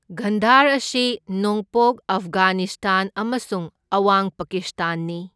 ꯒꯟꯙꯔ ꯑꯁꯤ ꯅꯣꯡꯄꯣꯛ ꯑꯐꯒꯥꯅꯤꯁꯇꯥꯟ ꯑꯃꯁꯨꯡ ꯑꯋꯥꯡ ꯄꯥꯀꯤꯁꯇꯥꯟꯅꯤ꯫